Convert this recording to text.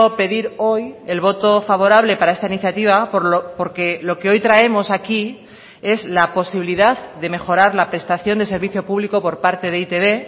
pedir hoy el voto favorable para esta iniciativa porque lo que hoy traemos aquí es la posibilidad de mejorar la prestación de servicio público por parte de e i te be